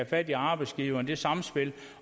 fat i arbejdsgiverne det samspil